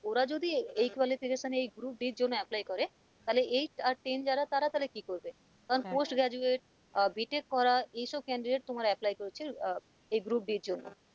ওরা যদি আহ এই qualification এ group d এর জন্য apply করে তাহলে eight আর ten যারা তারা তাহলে কি করবে? কারণ post graduate uh b tec করা এসব candidate তোমার apply করছে আহ এই group d এর জন্য,